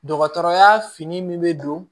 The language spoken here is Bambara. Dɔgɔtɔrɔya fini min bɛ don